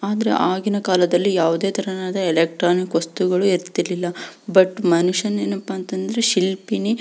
ಅದ್ರ ಆವಾಗಿನ ಕಾಲದಲ್ಲಿ ಯಾವದೇ ತರದ ಇಲೆಕ್ಟ್ರಾನಿಕ್ ವಸ್ತುಗಳು ಇರ್ತಿರ್ಲಿಲ್ಲ ಬಟ್ ಮನುಷ್ಯ ಏನಪ್ಪಾ ಅಂದ್ರೆ ಶಿಲ್ಪಿನೆ --